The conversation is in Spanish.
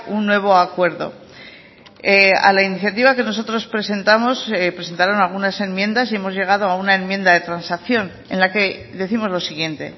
un nuevo acuerdo a la iniciativa que nosotros presentamos presentaron algunas enmiendas y hemos llegado a una enmienda de transacción en la que décimos lo siguiente